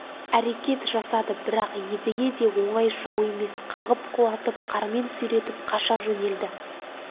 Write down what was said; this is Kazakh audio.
әрекет жасады бірақ едіге де оңай жау емес қағып құлатып қармен сүйретіп қаша жөнелді